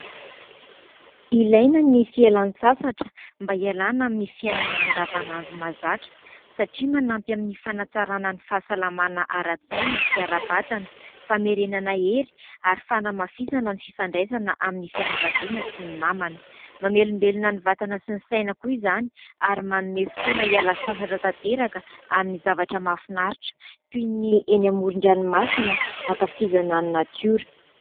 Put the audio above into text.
Ilaina ny fialan-tsasatra mba hialana amin'ny fiainana andavanandro mahazatra satria manampy amin'ny fanatsarana ny fahasalamana ara-tsaina sy ara-batana, famerenana hery ary fanamafizana ny fifandraisana amin'ny fianakaviana sy ny namana. Mamelombelona ny vatana sy ny saina koa izany ary manome fotoana hiala sasatra tanteraka amin'ny zavatra mahafinaritra ; toy ny eny amoron-dranomasina ankafizana ny natiora.